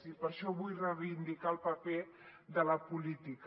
i per això vull reivindicar el paper de la política